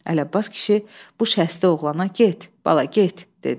Əli Abbas kişi bu şəsdi oğlana get, bala, get dedi.